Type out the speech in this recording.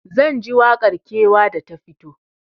Zanji waƙar kewa da ta fito